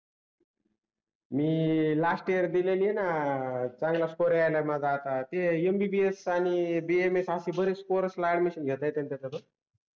मी last year दिलेली आहे न अह चांगला स्कोर याईला माझा आता ते MBBS आणि BAMS रेच कोर्सेला ऍडमिशन घेता येते न त्याच्यातून